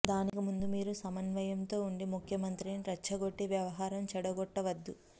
దానికి ముందు మీరు సంయమనంతో వుండి ముఖ్యమంత్రిని రెచ్చగొట్టి వ్యవహారం చెడగొట్టవద్దు